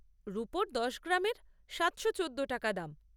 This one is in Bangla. রুপোর দশ গ্রামের সাতশো চোদ্দো টাকা দাম।